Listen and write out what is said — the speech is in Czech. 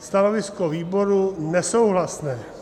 Stanovisko výboru: nesouhlasné.